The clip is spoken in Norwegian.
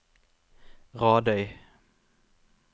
Radøy